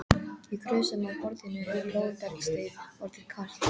Í krúsum á borðinu er blóðbergsteið orðið kalt.